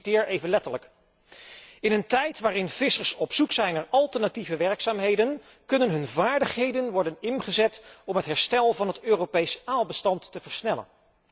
Ik citeer letterlijk In een tijd waarin vissers op zoek zijn naar alternatieve werkzaamheden kunnen hun vaardigheden worden ingezet om het herstel van het Europees aalbestand te versnellen.